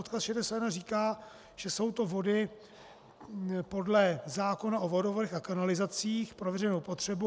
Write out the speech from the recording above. Odkaz 61 říká, že jsou to vody podle zákona o vodovodech a kanalizacích pro veřejnou potřebu.